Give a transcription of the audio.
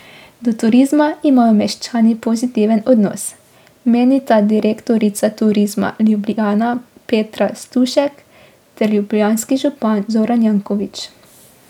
Do turizma imajo meščani pozitiven odnos, menita direktorica Turizma Ljubljana Petra Stušek ter ljubljanski župan Zoran Janković.